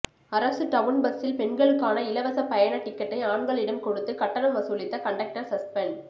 அரசு டவுன் பஸ்சில் பெண்களுக்கான இலவச பயண டிக்கெட்டை ஆண்களிடம் கொடுத்து கட்டணம் வசூலித்த கண்டக்டர் சஸ்பெண்ட்